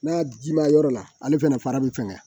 N'a ji ma yɔrɔ la ale fɛnɛ fara bi fɛŋɛ